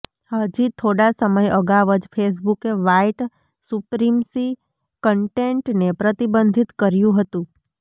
હજી થોડા સમય અગાઉ જ ફેસબુકે વ્હાઇટ સુપ્રિમસી કન્ટેન્ટને પ્રતિબંધિત કર્યું હતું